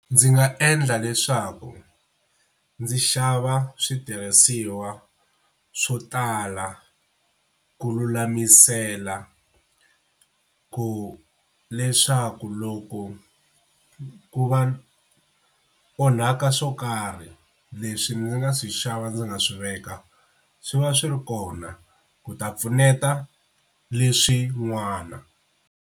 Ndzi nga endla leswaku ndzi xava switirhisiwa swo tala ku lulamisela ku leswaku loko ku va ku onhaka swo karhi leswi ndzi nga swi xava ndzi nga swi veka swi va swi ri kona ku ta pfuneta leswin'wana.